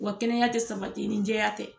Wa kɛnɛya tɛ sabati ni jɛya tɛ